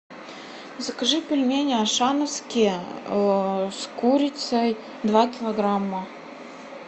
закажи пельмени ашановские с курицей два килограмма